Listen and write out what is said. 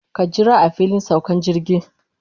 Ka jira a filin saukan jirgi.